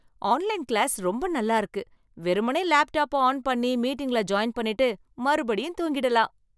Online class ரொம்ப நல்லா இருக்கு. வெறுமனே லேப்டாப்ப ஆன் பண்ணி மீட்டிங்ல ஜாயின் பண்ணிட்டு, மறுபடியும் தூங்கிடலாம்.